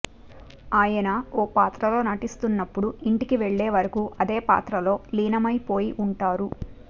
ఆయన ఓ పాత్రలో నటిస్తున్నప్పుడు ఇంటికి వెళ్లేవరకు అదే పాత్రలో లీనమైపోయి ఉంటారు